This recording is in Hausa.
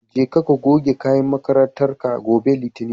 Jeka ka goge kayan makarantar ka. gobe litinin